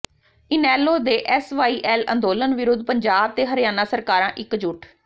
ਇਨੈਲੋ ਦੇ ਐਸਵਾਈਐਲ ਅੰਦੋਲਨ ਵਿਰੁੱਧ ਪੰਜਾਬ ਤੇ ਹਰਿਆਣਾ ਸਰਕਾਰਾਂ ਇਕਜੁੱਟ